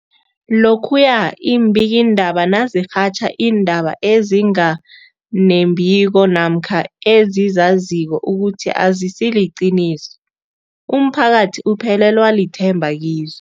Lokhuya iimbikiindaba nazirhatjha iindaba ezinga nembiko namkha ezizaziko ukuthi azisiliqiniso, umphakathi uphelelwa lithemba kizo.